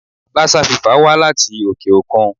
Lassa fever wá láti òkè-òkun.